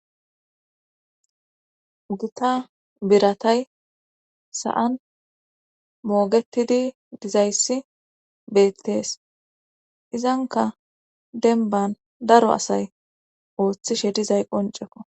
gita biratay sa7an moogetidi dizayssi beettees izanka denban daro asay ooththishe dizay qon ceko